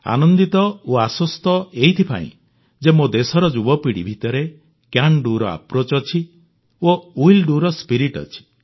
ଆନନ୍ଦିତ ଓ ଆଶ୍ୱସ୍ତ ଏଇଥିପାଇଁ ଯେ ମୋ ଦେଶର ଯୁବପିଢ଼ି ଭିତରେ ସିଏଏନ Doର ଆପ୍ରୋଚ୍ ଅଛି ଓ ୱିଲ୍ Doର ସ୍ପିରିଟ୍ ଅଛି